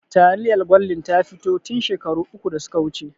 Taliyar gwaldin ta fito tin shekaru uku da suka wuce